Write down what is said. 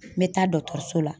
N bɛ taa dɔkitɛriso la.